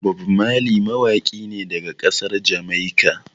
Bob Marley mawaƙi ne daga ƙasar Jamaika.